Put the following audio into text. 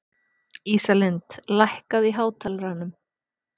Ísalind, lækkaðu í hátalaranum.